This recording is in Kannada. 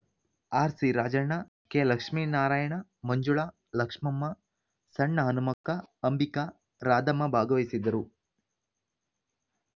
ಆರ್ಸಿ ರಾಜಣ್ಣ ಕೆ ಲಕ್ಷ್ಮಿನಾರಾಯಣ ಮಂಜುಳಾ ಲಕ್ಷ್ಮಮ್ಮ ಸಣ್ಣ ಹನುಮಕ್ಕ ಅಂಬಿಕಾ ರಾಧಮ್ಮ ಭಾಗವಹಿಸಿದ್ದರು